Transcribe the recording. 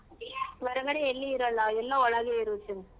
ಹೊರಗಡೆ ಎಲ್ಲಿ ಇರಲ್ಲ ಎಲ್ಲಾ ಒಳಗೆ ಇರುತ್ತೆ.